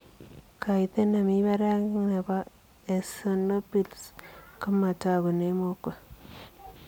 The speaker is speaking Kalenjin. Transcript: Kaiteet nemii parak nepoo eosinopils komatagunee mokwek